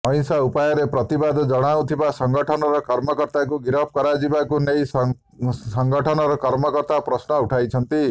ଅହିଂସା ଉପାୟରେ ପ୍ରତିବାଦ ଜଣାଉଥିବା ସଂଗଠନର କର୍ମକର୍ତାଙ୍କୁ ଗିରଫ କରାଯିବାକୁ ନେଇ ସଂଗଠନର କର୍ମକର୍ତା ପ୍ରଶ୍ନ ଉଠାଇଛନ୍ତି